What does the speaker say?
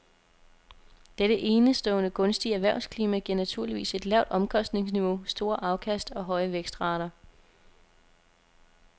Dette enestående gunstige erhvervsklima giver naturligvis et lavt omkostningsniveau, store afkast og høje vækstrater.